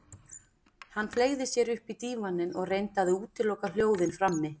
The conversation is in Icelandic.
Hann fleygði sér upp í dívaninn og reyndi að útiloka hljóðin frammi.